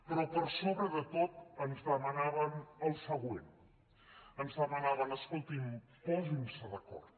però per sobre de tot ens demanaven el següent ens demanaven escoltin posin se d’acord